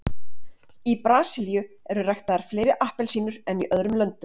Í Brasilíu eru ræktaðar fleiri appelsínur en í öðrum löndum.